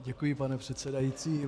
Děkuji, pane předsedající.